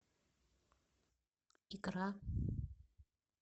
икра